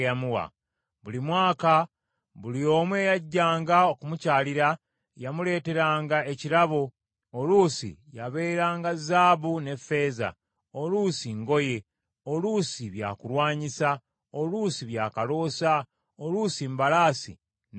Buli mwaka, buli omu eyajjanga okumukyalira, yamuleeteranga ekirabo, oluusi yabeeranga zaabu ne ffeeza, oluusi ngoye, oluusi byakulwanyisa, oluusi byakaloosa, oluusi mbalaasi n’ennyumbu.